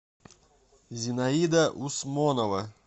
зинаида усмонова